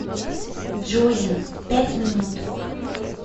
джози пять минут